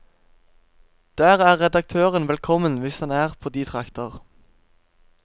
Der er redaktøren velkommen hvis han er på de trakter.